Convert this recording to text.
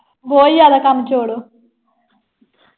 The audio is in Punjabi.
ਬਹੁਤ ਜ਼ਿਆਦਾ ਕੰਮ ਚੋਰ ਆ।